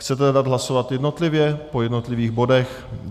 Chcete dát hlasovat jednotlivě, po jednotlivých bodech?